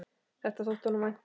Þetta þótti honum vænt um.